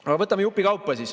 Aga võtame jupikaupa.